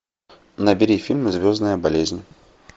набери фильм звездная болезнь